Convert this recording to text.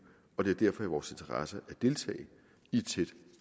og det er derfor i vores interesse at deltage i et tæt